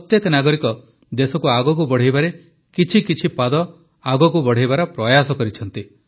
ପ୍ରତ୍ୟେକ ନାଗରିକ ଦେଶକୁ ଆଗକୁ ବଢ଼ାଇବାରେ କିଛିକିଛି ପାଦ ଆଗକୁ ବଢ଼ାଇବାର ପ୍ରୟାସ କରିଛନ୍ତି